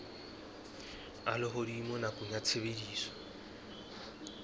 a lehodimo nakong ya tshebediso